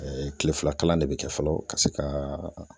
kile fila kalan de bɛ kɛ fɔlɔ ka se ka